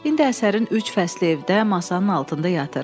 İndi əsərin üç fəsli evdə masanın altında yatır.